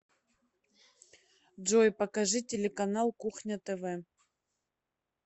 джой покажи телеканал кухня тв